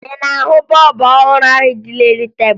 Ị na-ahụ bọọbụ ọhụrụ ahụ dị n'elu tebulu?